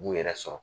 U b'u yɛrɛ sɔrɔ